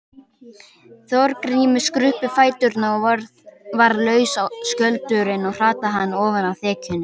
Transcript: Þorgrími skruppu fæturnir og varð laus skjöldurinn og hrataði hann ofan af þekjunni.